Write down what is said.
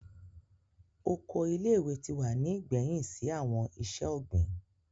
Oko ile-iwe ti wa ni igbẹhin si awọn iṣẹ-ogbin.